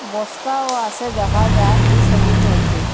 বস্তাও আসে দেখা যার ই সবির মধ্যে।